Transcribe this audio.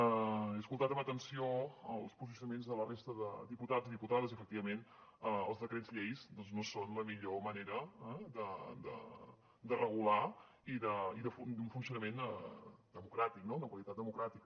he escoltat amb atenció els posicionaments de la resta de diputats i diputades i efectivament els decrets lleis doncs no són la millor manera de regular i d’un funcionament democràtic no de qualitat democràtica